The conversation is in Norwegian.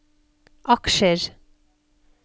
aksjer